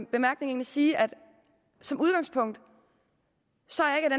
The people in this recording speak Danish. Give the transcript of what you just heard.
bemærkning sige at som udgangspunkt